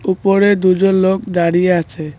উপরে দুজন লোক দাঁড়িয়ে আছে।